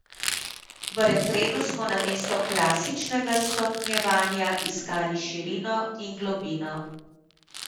V refrenu smo namesto klasičnega stopnjevanja iskali širino in globino.